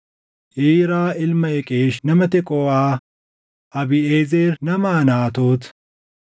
Iiraa ilma Iqeesh nama Teqooʼaa, Abiiʼezer nama Anaatoot,